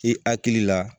I hakili la